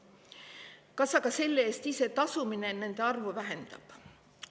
Aga kas ise selle eest tasumine nende arvu vähendab?